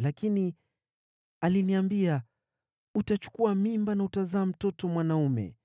Lakini aliniambia, ‘Utachukua mimba na utazaa mtoto mwanaume.